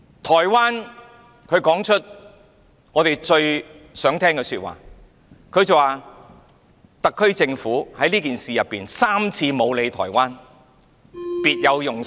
台灣說出了我們最想聽的說話，它說特區政府在這件事情上3次沒有理會台灣，別有用心。